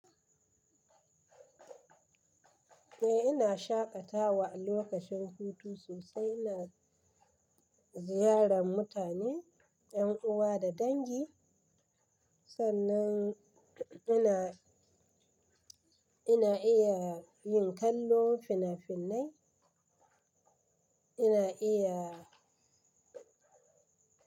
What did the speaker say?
Eh ina shaƙatawa a lokacin hutu sosai, ina ziyarar mutane, yan uwa da dangi sannan ina, ina iya yin kallon fina-finai, ina iya.